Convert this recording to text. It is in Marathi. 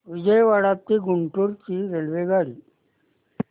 विजयवाडा ते गुंटूर ची रेल्वेगाडी